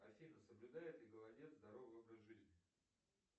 афина соблюдает ли голодец здоровый образ жизни